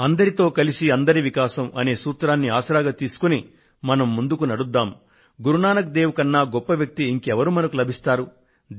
sub కా సాథ్ సబ్ కా వికాస్ అందరితో కలిసి అందరి వికాసం అనే గమ్యం వైపు కదిలేందుకు మనకు గురు నానక్ దేవ్ కన్నా మరింత ఉత్తమమైన మార్గదర్శకత్వం లభించదు